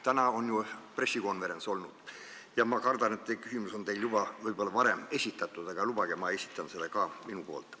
Täna on ju pressikonverents olnud ja ma kardan, et see küsimus on teile juba võib-olla varem esitatud, aga lubage, ma esitan selle ka omalt poolt.